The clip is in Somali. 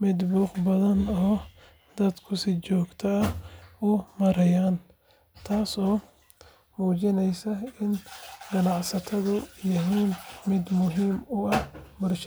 mid buuq badan oo dadku si joogto ah u marayaan, taasoo muujinaysa in ganacsigeedu yahay mid muhiim u ah bulshada.